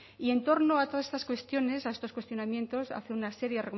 y en torno a todas estas cuestiones a todos estos cuestionamientos hace